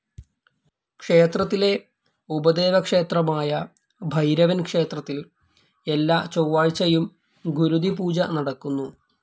ക്ഷേത്രത്തിലെ ഉപദേവക്ഷേത്രമായ ഭൈരവൻ ക്ഷേത്രത്തിൽ എല്ലാ ചൊവാഴ്ചയും ഗുരുതി പൂജ നടക്കുന്നു.